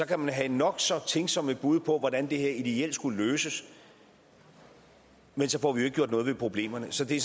kan vi have nok så tænksomme bud på hvordan det her ideelt skulle løses men så får vi jo ikke gjort noget ved problemerne så det